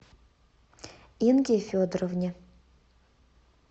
инге федоровне